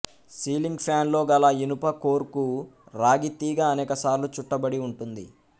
ceiling ఫ్యాన్లో గల ఇనుప కోర్ కు రాగి తీగ అనేక సార్లు చుట్టబడి ఉంటుంది